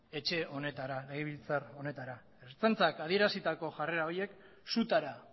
etxe honetara legebiltzar honetara ertzaintzak adierazitako jarrera horiek sutara